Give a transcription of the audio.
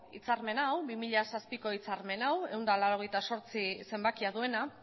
hitzarmen hau bi mila zazpiko hitzarmen hau ehun eta laurogeita zortzi zenbakia duena